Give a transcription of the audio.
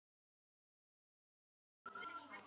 Bless vinur minn.